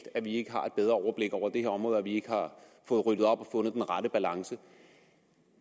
at vi ikke har et bedre overblik over det her område og at vi ikke har fået ryddet op og fundet den rette balance